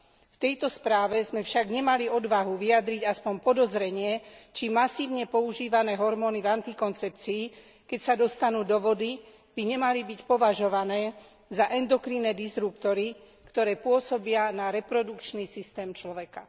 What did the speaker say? V tejto správe sme však nemali odvahu vyjadriť aspoň podozrenie, či masívne používané hormóny v antikoncepcii, keď sa dostanú do vody, by nemali byť považované za endokrinné disruptory, ktoré pôsobia na reprodukčný systém človeka.